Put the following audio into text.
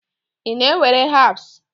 Ị na-ewere herbs?